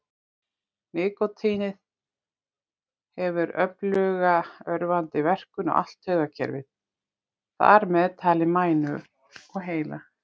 Nikótín hefur öfluga örvandi verkun á allt taugakerfið, þar með talið heila og mænu.